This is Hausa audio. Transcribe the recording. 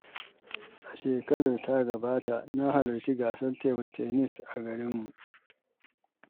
A shekarar da ta gabata, na halarci gasar tebul tanis a garinmu.